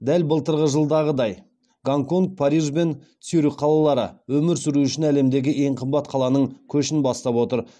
дәл былтырғы жылдағыдай гонконг париж бен цюрих қалалары өмір сүру үшін әлемдегі ең қымбат қаланың көшін бастап отыр